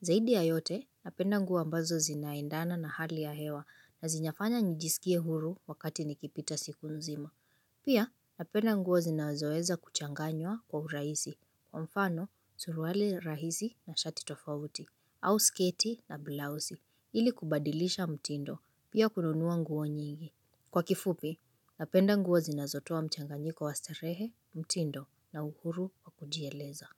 Zaidi ya yote, napenda nguo ambazo zinaendana na hali ya hewa na zinyafanya nijisikie huru wakati nikipita siku nzima. Pia napenda nguo zinazoeza kuchanganywa kwa urahisi, kwa mfano, suruali rahisi na shati tofauti, au sketi na blouse, ili kubadilisha mtindo, pia kununua nguo nyingi. Kwa kifupi, napenda nguo zinazotoa mchanganyiko wa starehe, mtindo na uhuru wa kujieleza.